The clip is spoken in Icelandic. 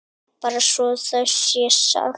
Bara svo það sé sagt.